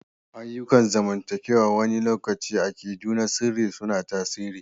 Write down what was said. Ayyukan zamantakewa wani lokaci akidu na sirri suna tasiri.